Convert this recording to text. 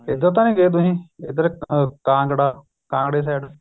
ਇੱਧਰ ਤਾਂ ਨੀ ਗਏ ਤੁਸੀਂ ਇੱਧਰ ਕਾਂਗੜਾ ਕਾਂਗੜੇ side